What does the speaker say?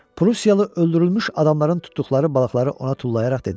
Prussiyalı öldürülmüş adamların tutduqları balıqları ona tullayaraq dedi: